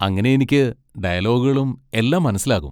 അങ്ങനെ എനിക്ക് ഡയലോഗുകളും എല്ലാം മനസ്സിലാകും.